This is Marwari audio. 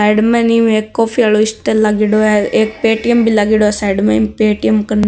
साइड में है नि एक कॉफी आरो स्टोल लागेड़ो है एक पेटीएम भी लागेड़ो है साइड में ईम पेटीएम --